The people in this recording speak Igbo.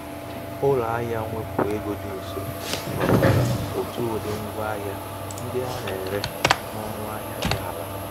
ụlọ ahìa mwepụ ego dị nso nwekwara otu ụdị́ ngwa ahịa ndị a na-ere n' ọnụ ahịa dị ala.